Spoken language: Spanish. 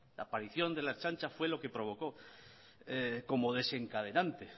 la aparición de la ertzaintza fue lo que provocó como desencadenante